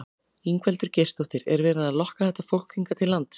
Ingveldur Geirsdóttir: Er verið að lokka þetta fólk hingað til lands?